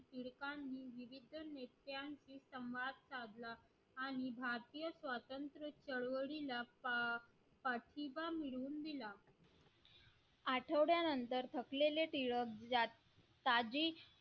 समाज काढला आणि भारतीय स्वातंत्र्य चळवळीला पाठिंबा मिळवून दिला आठवड्यानंतर थकलेले टिळक